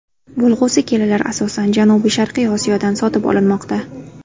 Bo‘lg‘usi kelinlar asosan janubiy-sharqiy Osiyodan sotib olinmoqda.